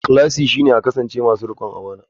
Ikhlasi shine a kasance masu rikon amana.